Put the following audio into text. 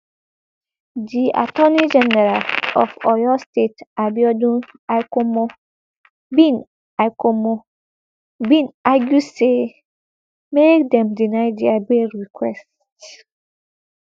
di attorney general of oyo state abiodun aikomo bin aikomo bin argue say make dem deny dia bail requests